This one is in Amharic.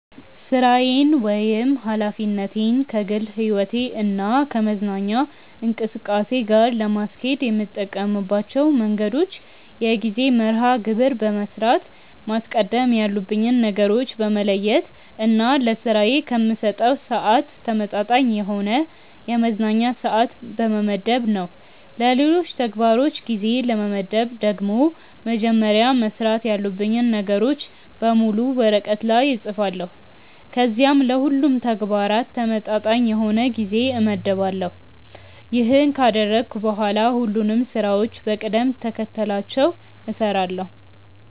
ሥራዬን ወይም ኃላፊነቴን ከግል ሕይወቴ እና ከመዝናኛ እንቅስቃሴ ጋር ለማስኬድ የምጠቀምባቸው መንገዶች የጊዜ መርሐ ግብር በመስራት፣ ማስቀደም ያሉብኝን ነገሮች በመለየት እና ለስራዬ ከምሰጠው ስዓት ተመጣጣኝ የሆነ የመዝናኛ ስዓት በመመደብ ነው። ለሌሎች ተግባሮች ጊዜ ለመመደብ ደግሞ መጀመሪያ መስራት ያሉብኝን ነገሮች በሙሉ ወረቀት ላይ እፅፋለሁ ከዚያም ለሁሉም ተግባራት ተመጣጣኝ የሆነ ጊዜ እመድባለሁ። ይሄንን ካደረግኩ በኋላ ሁሉንም ስራዎችን በቅደም ተከተላቸው እሰራለሁ።